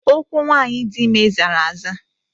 Ụkwụ nwanyị dị ime zara aza